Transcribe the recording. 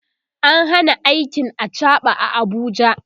an Hana aikin achaɓa a Abuja